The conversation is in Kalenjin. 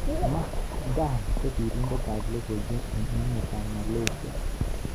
Mat Dan ko sirindet ab logoiwek eng emet ab Malaysia.